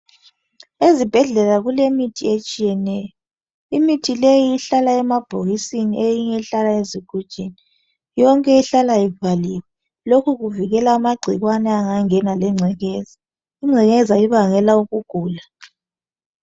Ezibhedlela kule mithi etshiyeneyo. Imithi leyi ihlala emabhokisini eyinye ihlala ezigujini. Yonke ihlala ivaliwe. Lokhu kuvikela amagcikwane ungangena lengcekeza. Ingcekeza ibangela ukugula.